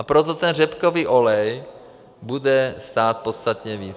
A proto ten řepkový olej bude stát podstatně víc.